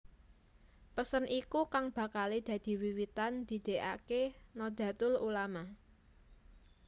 Pesen iku kang bakalé dadi wiwitan didêkaké Nahdlatul Ulama